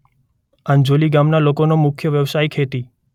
આંજોલી ગામના લોકોનો મુખ્ય વ્યવસાય ખેતી